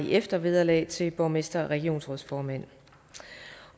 i eftervederlag til borgmestre og regionsrådsformænd